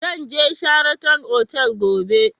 Zan je Sheraton otal gobe